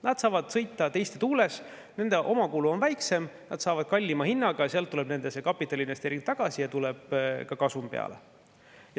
Nad saavad sõita teiste tuules, nende omakulu on väiksem, nad saavad kallima hinnaga ja sealt tuleb nende kapitaliinvesteering tagasi ja tuleb ka kasum.